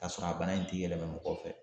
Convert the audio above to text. K'a sɔrɔ a bana in ti yɛlɛma mɔgɔ fɛ